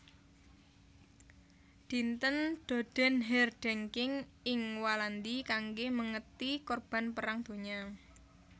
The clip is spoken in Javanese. Dinten Dodenherdenking ing Walandi kanggé mèngeti korban Perang Donya